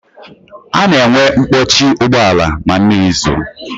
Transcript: A na-enwe mkpọchi ụgbọala ma mmiri zoo